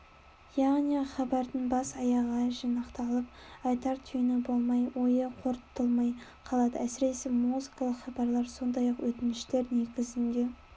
яғни хабардың бас-аяғы жинақталып айтар түйіні болмай ойы қорытылмай қалады әсіресе музыкалық хабарлар сондай өтініштер негізінде